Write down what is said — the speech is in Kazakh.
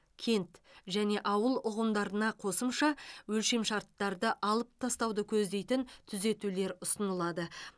кент және ауыл ұғымдарына қосымша өлшемшарттарды алып тастауды көздейтін түзетулер ұсынылады